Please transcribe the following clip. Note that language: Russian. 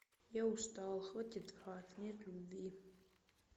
я устал хватит врать нет любви